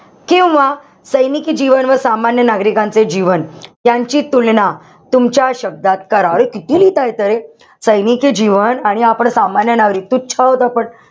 किंवा सैनिकी जीवन व सामान्य नागरिकांचे जीवन यांची तुलना तुमच्या शब्दात करा. अरे किती लिहिता येत रे? सैनिकी जीवन आणि आपण सामान्य नागरिक, तुच्छ आहोत आपण.